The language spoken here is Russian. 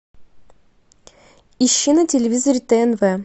ищи на телевизоре тнв